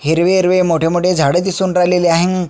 हिरवे हिरवे मोठे मोठे झाड दिसून राहिलेले आहे.